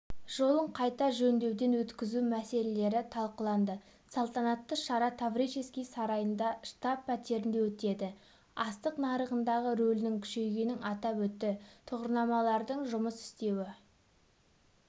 жолын қайта жөндеуден өткізу мәселелері талқыланды салтанатты шара таврический сарайында штаб-пәтерінде өтеді астық нарығындағы рөлінің күшейгенін атап өтті тұғырнамалардың жұмыс істеуі